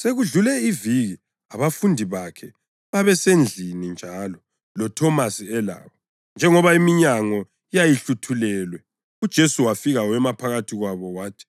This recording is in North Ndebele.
Sekudlule iviki abafundi bakhe babesendlini njalo, loThomasi elabo. Njengoba iminyango yayihluthulelwe uJesu wafika wema phakathi kwabo wathi,